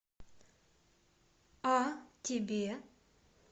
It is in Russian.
а тебе